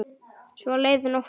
Svo leið nóttin.